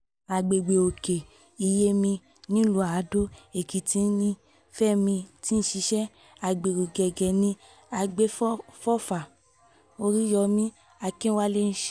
àgbègbè òkè-iyèmí nílùú àdó-èkìtì ni um fẹmi ti ń ṣiṣẹ́ um agbéró gẹ́gẹ́ bí àgbéfọ́fà oríyọmi akínwálé ṣe wí